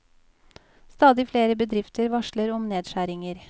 Stadig flere bedrifter varsler om nedskjæringer.